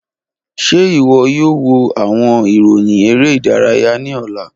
Ṣe iwọ yoo wo awọn iroyin ere idaraya ni ọla?